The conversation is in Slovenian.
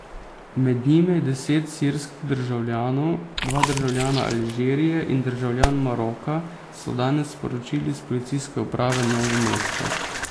Med njimi je deset sirskih državljanov, dva državljana Alžirije in državljan Maroka, so danes sporočili s Policijske uprave Novo mesto.